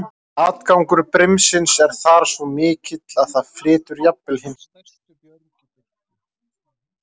Atgangur brimsins er þar svo mikill að það flytur jafnvel hin stærstu björg í burtu.